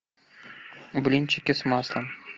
блинчики с маслом